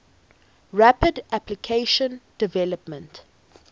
rapid application development